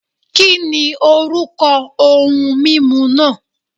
Kìnì orúkọ ohun mímu náà